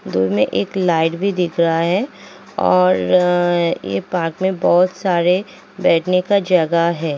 दूर में एक लाइट भी दिख रहा है और ये पार्क में बोहोत सारे बैठने का जगह है।